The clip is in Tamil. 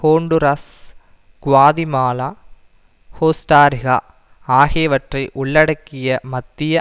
ஹோண்டுராஸ் குவாதிமாலா கோஸ்டாரீகா ஆகியவற்றை உள்ளடக்கிய மத்திய